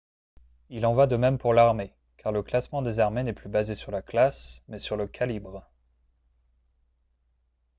il en va de même pour l'armée car le classement des armées n'est plus basé sur la classe mais sur le calibre